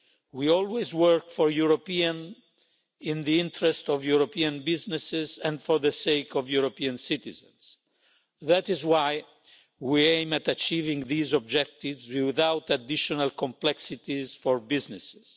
We always work for Europeans, in the interest of European businesses and for the sake of European citizens. That is why we aim at achieving these objectives without additional complexities for businesses.